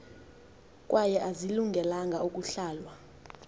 kwaye azilungelanga ukuhlalwa